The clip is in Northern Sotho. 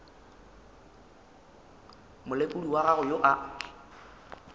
molekodi wa gago yo a